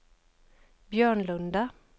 Björnlunda